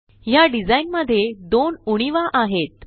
ह्या डिझाइन मध्ये दोन उणीवा आहेत